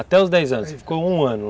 Até os dez anos, aí ficou um ano